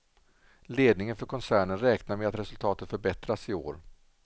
Ledningen för koncernen räknar med att resultatet förbättras i år.